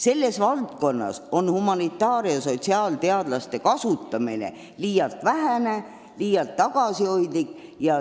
Selles valdkonnas on humanitaar- ja sotsiaalteadlaste kasutamine olnud liialt vähene, liialt tagasihoidlik.